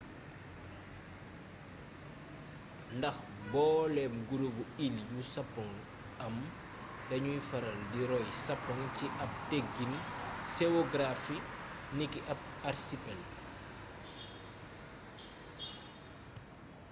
ndax booleb /gurubu iil yu sapoŋ am dañuy faral di royalee sapoŋ ci ab teggiin seogaraafi niki ab arsipel